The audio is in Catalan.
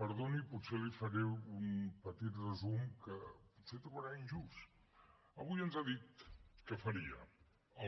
perdoni potser li faré un petit resum que potser trobarà injust avui ens ha dit que faria